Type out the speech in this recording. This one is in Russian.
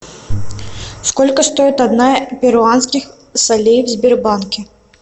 сколько стоит одна перуанских солей в сбербанке